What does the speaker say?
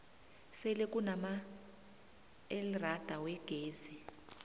sele kunamaelrada wegezi